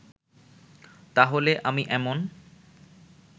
তাহলে আমি এমন